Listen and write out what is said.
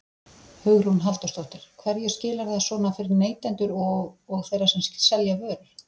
Hugrún Halldórsdóttir: Hverju skilar þetta svona fyrir neytendur og, og þeirra sem selja vörur?